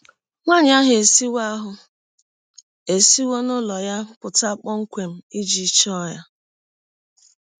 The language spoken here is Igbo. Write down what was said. Nwanyị ahụ esiwọ ahụ esiwọ n’ụlọ ya pụta kpọmkwem iji chọọ ya.